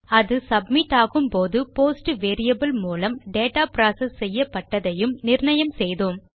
அது சப்மிட் ஆகும்போது post variable மூலம் டேட்டா புரோசெஸ் செய்யப்பட்டதையும் நிர்ணயம் செய்தோம்